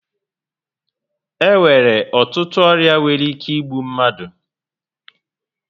E nwere ọtụtụ ọrịa nwere ike igbu mmadụ